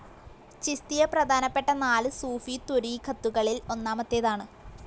ചിസ്തിയ പ്രധാനപ്പെട്ട നാല് സൂഫിത്വരീഖത്തുകളിൽ ഒന്നാമത്തേതാണ്.